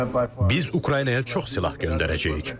Biz Ukraynaya çox silah göndərəcəyik.